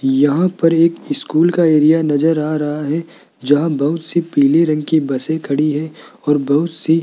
यहां पर एक स्कूल का एरिया नजर आ रहा है जहां बहुत से पीले रंग की बसें खड़ी है और बहुत सी --